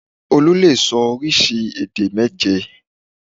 Olú lè sọ oríṣi èdè méje